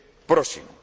Próximo.